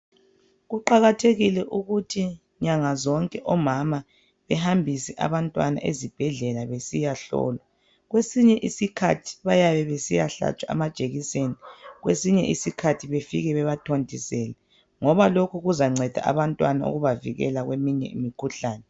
Kuqakathekile ukuthi nyanga zonke omama bahambise esibhedlela besiyahlolwa kwesinye isikhathi bayabe besiyahlatshwa amajekiseni kwesinye isikhathi befike bebathontisele ngoba lokhu kuzanceda abantwana ukubavikela kweminye imkhuhlane.